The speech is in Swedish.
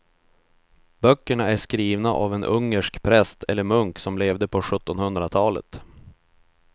Böckerna är skrivna av en ungersk präst eller munk som levde på sjuttonhundratalet.